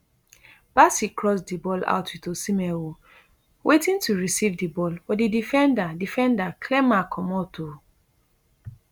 bassey cross di ball out wit osihmen um waiting to receive di ball but di defender defender clear ma comot um